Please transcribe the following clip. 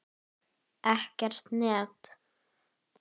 Ekkert net.